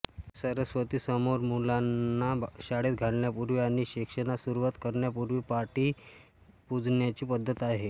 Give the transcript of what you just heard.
या सरस्वतीसमोर मुलांना शाळेत घालण्यापूर्वी आणि शिक्षणास सुरुवात करण्यापूर्वी पाटी पुजण्याची पद्धत आहे